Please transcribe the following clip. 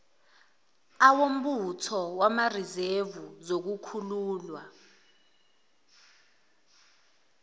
awombutho wamarizevu zokukhululwa